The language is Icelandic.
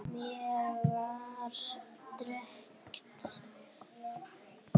Mér var drekkt.